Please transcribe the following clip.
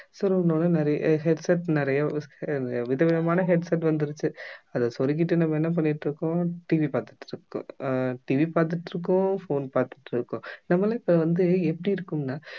சொருகுன உடனே நிறைய headset நிறைய விதவிதமான headset வந்துருச்சு அத சொருகிட்டு நம்ம என்ன பண்ணிட்டிருக்கோம் TV பார்த்திட்டிருக்கோம் அஹ் TV பார்த்திட்டிருக்கோம் phone பார்த்திட்டிருக்கோம் நம்ம எல்லாம் இப்ப வந்து எப்படி இருக்கோம்னா